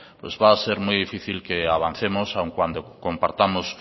pues va a ser muy difícil que avancemos aun cuando compartamos